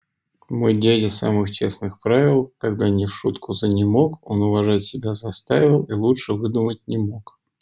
мой дядя самых честных правил когда не в шутку занемог он уважать себя заставил и лучше выдумать не мог